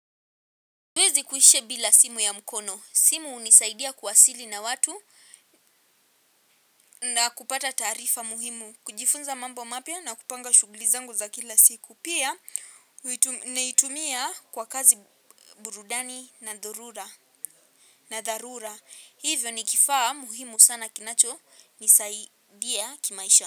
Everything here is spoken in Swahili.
Siwezi kuishi bila simu ya mkono. Simu hunisaidia kuwasili na watu na kupata taarifa muhimu. Kujifunza mambo mapya na kupanga shughuli zangu za kila siku. Pia, naitumia kwa kazi, burudani na dharura. Hivyo ni kifaa muhimu sana kinachonisaidia kimaisha.